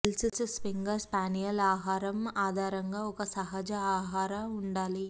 Welsh springer spaniel ఆహారం ఆధారంగా ఒక సహజ ఆహార ఉండాలి